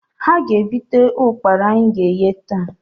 Ha ga-egbute ụkpara anyị ga-eghe, taa